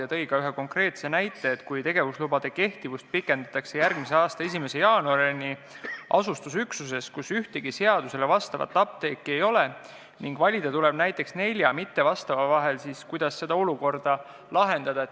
Ta tõi ka ühe konkreetse näite, et kui tegevuslubade kehtivust pikendatakse järgmise aasta 1. jaanuarini asustusüksuses, kus ühtegi seadusele vastavat apteeki ei ole, aga valida tuleb näiteks nelja mittevastava vahel, siis kuidas seda olukorda lahendada.